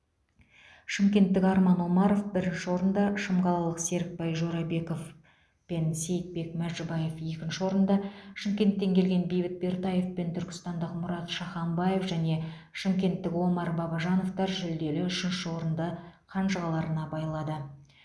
шымкенттік арман омаров бірінші орында шымқалалық серікбай жорабеков пен сейітбек мәжібаев екінші орында шымкенттен келген бейбіт бертаев пен түркістандық мұрат шаханбаев және шымкенттік омар бабажановтар жүлделі үшінші орында қанжығаларына байлады